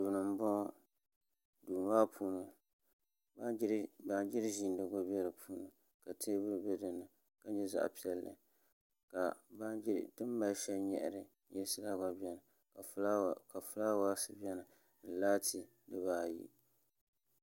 Duu n bɔŋɔ duu maa puuni baanjiri ʒiindigu bɛ di puuni ka teebuli bɛ di puuni ka nyɛ zaɣ piɛlli ka ti ni mali shɛli nyaɣari nyirisi la gba biɛni ka fulaawaasi gba biɛni ni laati dibaayi